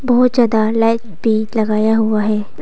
बहुत ज्यादा लाइट भी लगाया हुआ है।